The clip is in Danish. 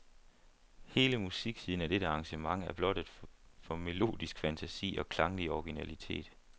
Hele musiksiden af dette arrangement er blottet for melodisk fantasi og klanglig originalitet.